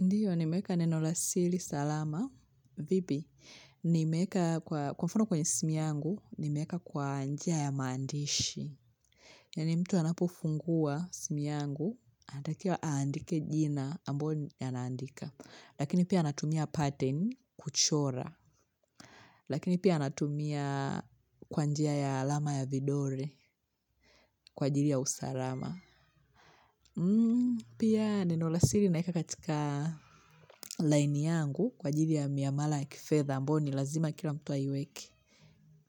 Ndio, nimeeka neno la sili salama. Vipi, nimeeka kwa mfano kwenye simu yangu, nimeeka kwa njia ya maandishi. Yaani mtu anapofungua simu yangu, anatakiwa aandike jina ambayo ni naandika. Lakini pia anatumia pattern kuchora. Lakini pia anatumia kwa njia ya alama ya vidole, kwa ajili ya usarama. Pia neno la sili naeka katika line yangu kwa ajili ya miamala ya kifedha ambayo ni lazima kila mtu aiweke